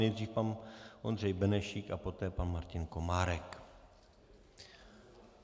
Nejdřív pan Ondřej Benešík a poté pan Martin Komárek.